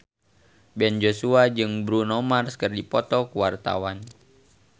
Ben Joshua jeung Bruno Mars keur dipoto ku wartawan